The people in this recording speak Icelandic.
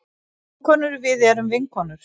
Vinkonur við erum vinkonur.